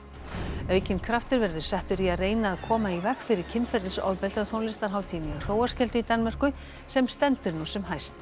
aukinn kraftur verður settur í að reyna að koma í veg fyrir kynferðisofbeldi á tónlistarhátíðinni í Hróarskeldu í Danmörku sem stendur nú sem hæst